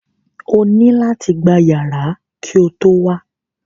O nílò láti gba yàrá ki o tó wá